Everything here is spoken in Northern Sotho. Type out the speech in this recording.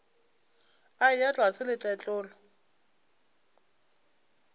a eya tlase le tletlolo